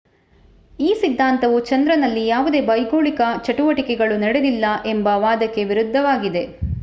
ಈ ಸಿದ್ಧಾಂತವು ಚಂದ್ರನಲ್ಲಿ ಯಾವುದೇ ಭೌಗೋಳಿಕ ಚಟುವಟಿಕೆಗಳು ನಡೆದಿಲ್ಲ ಎಂಬ ವಾದಕ್ಕೆ ವಿರುದ್ಧವಾಗಿದೆ